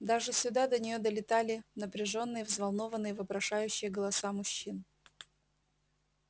даже сюда до неё долетали напряжённые взволнованные вопрошающие голоса мужчин